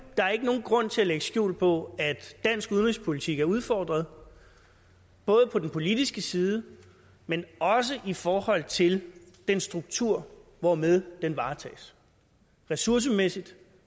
der er ikke nogen grund til at lægge skjul på at dansk udenrigspolitik er udfordret både på den politiske side men også i forhold til den struktur hvormed den varetages ressourcemæssigt